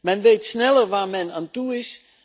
Men weet sneller waar men aan toe is.